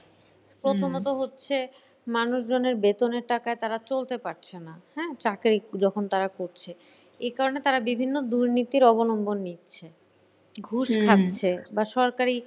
প্রথমত হচ্ছে মানুষজনের বেতনের টাকায় তারা চলতে পারছে না। হ্যাঁ চাকরি যখন তারা করছে। এ কারণে তারা বিভিন্ন দুর্নীতির অবলম্বন নিচ্ছে। ঘুষ খাচ্ছে বা সরকারি,